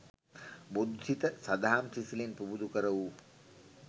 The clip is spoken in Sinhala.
බොදු සිත සඳහම් සිසිලෙන් පුබුදු කරවූ